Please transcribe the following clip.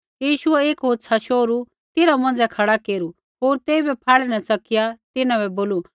यीशुऐ एक होछ़ा शोहरू तिन्हां मौंझ़ै खड़ा केरू होर तेइबै फाह्ड़ै न च़किया तिन्हां बै बोलू